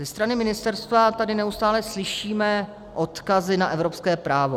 Ze strany ministerstva tady neustále slyšíme odkazy na evropské právo.